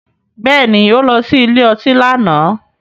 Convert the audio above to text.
Bẹ́ẹ̀ni, ó lọ sí ilé ọtí lánàá.